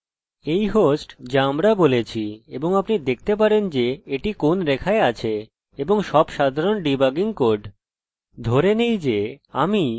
ধরে নেই যে আমিummmবাস্তবে প্রথমে কি করতে পারি যে আপনাকে আরেকটি উপযোগী জিনিস দেখাই বা die আপনি এখানে আরেকটি ফাংশন বলতে পারেন